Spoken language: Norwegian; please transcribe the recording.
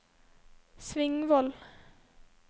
Svingvoll